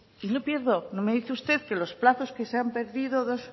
y no pierdo no me dice usted que los plazos que se han perdido